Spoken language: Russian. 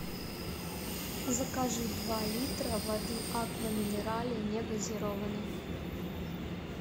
закажи два литра воды аква минерале негазированной